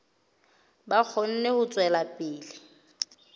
ba kgone ho tswela pele